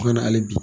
Kuma na hali bi